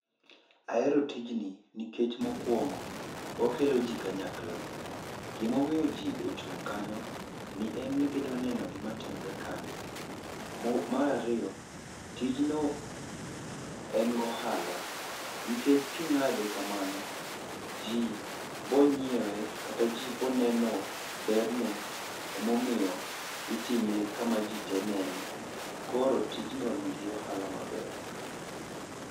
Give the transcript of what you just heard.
Ahero tijni jikech mokungo okelo ji kanyakla. Gima omiyo ji ochung' kanyo en ni gidwa neno gima timre kanyo. Mar ariyo, tijno en gi ohala nikech king'ade kamano , ji biro ng'iewe kata ji biro neno berne emomiyo itime kama jite nene. Koro tijno nigi ohala maber.